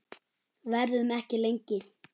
Verðum ekki lengi.